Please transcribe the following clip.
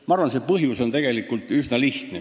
Ma arvan, et põhjus on tegelikult üsna lihtne.